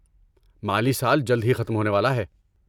مالی سال جلد ہی ختم ہونے والا ہے۔